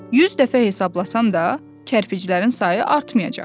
100 dəfə hesablasam da, kərpiclərin sayı artmayacaq.